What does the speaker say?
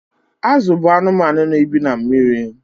Azụ bụ anụmanụ na-ebi na mmiri.